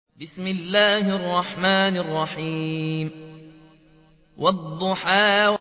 وَالضُّحَىٰ